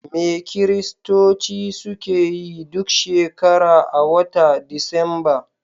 Me Kiristoci suke yi duk shekara a wata disamba?